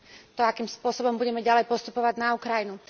to, akým spôsobom budeme ďalej postupovať na Ukrajinu.